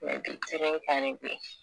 du kan ne ben